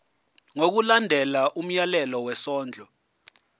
ngokulandela umyalelo wesondlo